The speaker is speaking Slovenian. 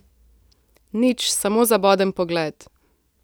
Nič, samo zaboden pogled.